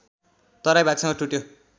तराई भागसँग टुट्यो